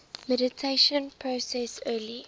mediation process early